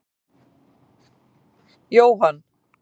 Jóhann, hvað verður þessi brú notuð lengi?